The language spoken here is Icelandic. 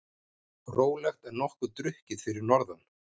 Rólegt en nokkuð drukkið fyrir norðan